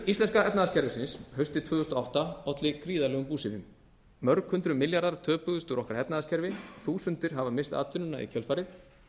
íslenska efnahagskerfisins haustið tvö þúsund og átta olli gríðarlegum búsifjum mörg hundruð milljarðar töpuðust úr okkar efnahagskerfi þúsundir hafa misst atvinnuna í kjölfarið